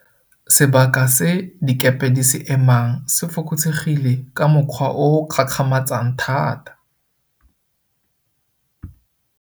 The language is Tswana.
Sebaka se dikepe di se emang se fokotsegile ka mokgwa o o gakgamatsang thata.